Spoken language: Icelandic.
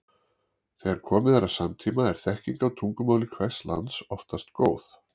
þegar komið er að samtíma er þekking á tungumáli hvers lands oftast góð